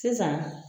Sisan